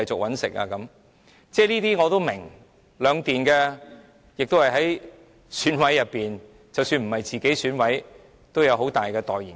我是明白的，兩電是選舉委員會委員，即使不是自己當選委，也有勢力很大的代言人。